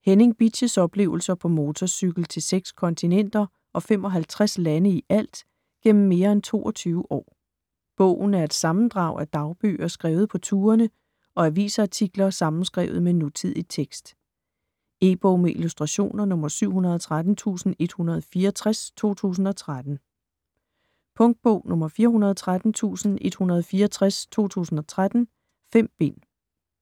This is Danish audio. Henning Bitsch's oplevelser på motorcykel til seks kontinenter, og 55 lande ialt, gennem mere end 22 år. Bogen er et sammendrag af dagbøger skrevet på turene og avisartikler sammenskrevet med nutidig tekst. E-bog med illustrationer 713164 2013. Punktbog 413164 2013. 5 bind.